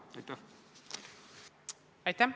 Aitäh!